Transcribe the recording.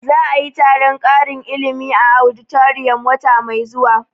Za a yi taron ƙarin ilimi a auditorium wata mai zuwa